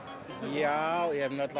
já ég hef